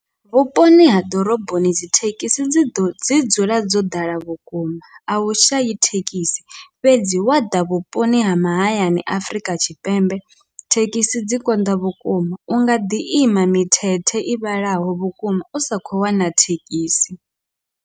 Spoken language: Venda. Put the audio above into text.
Vhuponi ha ḓoroboni dzithekhisi dzi ḓo dzi dzula dzo ḓala vhukuma, ahu shayi thekhisi fhedzi wa ḓa vhuponi ha mahayani Afurika Tshipembe thekhisi dzi konḓa vhukuma, unga ḓi ima mithethe i vhalaho vhukuma usa khou wana thekhisi.